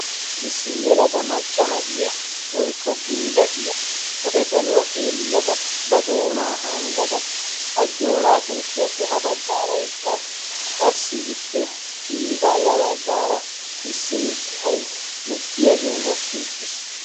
issi yelaga maccana iya woikko geela iya pude saluwaa xeellada ba doonaa hanggada hajjooraa soossuwaappe ha baggaara eqqaasu qassi ippe qiyi baaya baggaara issi mittai lo77iyaagee mokki uttiis